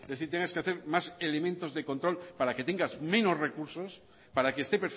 es decir tengas que hacer más elementos de control para que tengas menos recursos para que esté